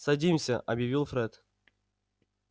садимся объявил фред